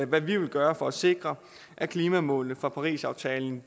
hvad vi vil gøre for at sikre at klimamålene fra parisaftalen